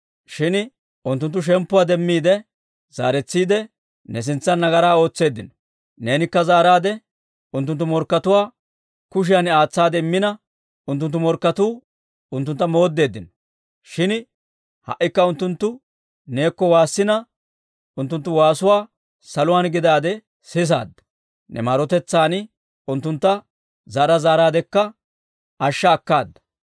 «Shin unttunttu shemppuwaa demmiide zaaretsiide, ne sintsan nagaraa ootseeddino. Neenikka zaaraadde unttunttu morkkatuwaa kushiyan aatsaade immina, unttunttu morkketuu unttuntta mooddeddino. Shin ha"ikka unttunttu neekko waassina, unttunttu waasuwaa saluwaan gidaade sisaadda. Ne maarotetsaan unttuntta zaara zaaraadekka ashsha akkaada.